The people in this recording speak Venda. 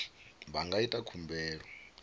vha nga ita khumbelo ya